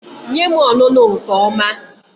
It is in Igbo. Nye m ọnụnụ nke ọma